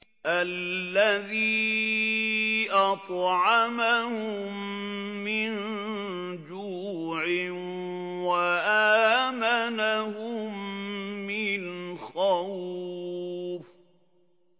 الَّذِي أَطْعَمَهُم مِّن جُوعٍ وَآمَنَهُم مِّنْ خَوْفٍ